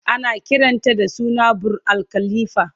Ana kiranta da suna "Burj Al khalifa"